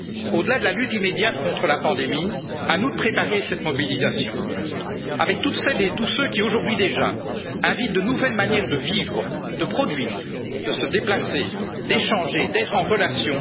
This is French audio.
collectives. Au delà de la lutte immédiate contre la pandémie, à nous de préparer cette mobilisation, avec toutes celles et tous ceux qui, aujourd'hui déjà, invitent de nouvelles manières de vivre, de produire, de se déplacer, d'échanger, d'être